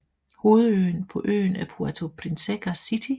Hovedbyen på øen er Puerto Princesa City